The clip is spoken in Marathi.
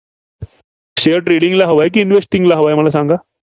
Share trading ला हवा आहे की investing ला? मला सांगा.